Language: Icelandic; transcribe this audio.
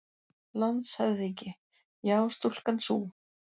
LANDSHÖFÐINGI: Já, stúlkan sú!